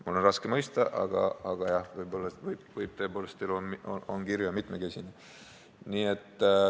Mul on seda raske mõista, aga jah, võib-olla tõepoolest, elu on kirju ja mitmekesine.